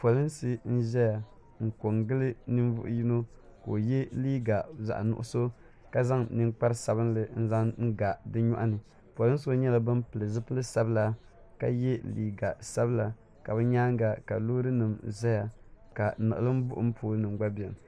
Polinsi n zaya n ko n gili ninvuɣi yino ka o ye liiga zaɣi nuɣiso ka zaŋ ninkpara sabinli n zaŋ n ga o nyɔɣu ni polinsi nyɛla bini pili zupiligu sabila ka ye liiga sabila ka bi yɛanga loori nima zaya la niɣilimbuɣim pooli nima gba bɛni.